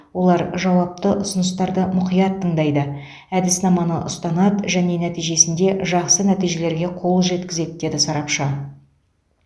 олар жауапты ұсыныстарды мұқият тыңдайды әдіснаманы ұстанады және нәтижесінде жақсы нәтижелерге қол жеткізеді деді сарапшы